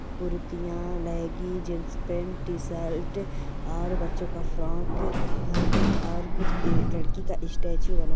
कुर्तिया लईगी jeans pant t-shirt और बच्चों का फ्रॉक हैं और कुछ लड़कि का स्टेचू --